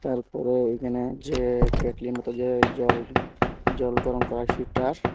এরপরে এইখানে যে কেটলির মত যে জল জল গরম করার সিটার ।